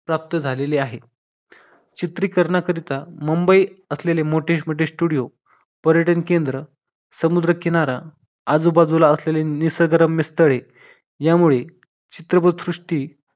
प्राप्त झालेले आहे चित्री करण्याकरता मुंबई मोठे मोठे studio पर्यटन केंद्र समुद्रकिनारा आजूबाजूला असलेले निसर्ग रम्य स्थळे यामुळे चित्रपट सृष्टी